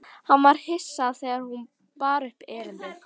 Hann var hissa þegar hún bar upp erindið.